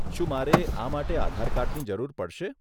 શું મારે આ માટે આધાર કાર્ડની જરૂર પડશે?